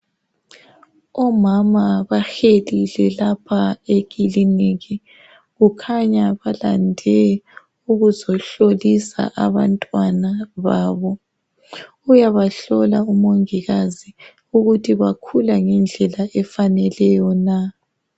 Omama bahelile lapha ekiliniki. kukhanya balande ukuzohlolisa abantwana babo. Uyabahlola umongikazi ukuthi bakhula ngendlela efaneleyo na.